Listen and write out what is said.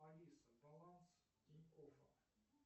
алиса баланс тинькоффа